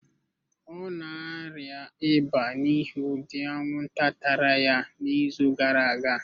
Ọ na-arịa ịba n'ihi ụdị anwụnta tara ya n'izu gara aga.